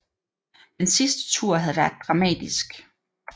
Den sidste tur havde været dramatisk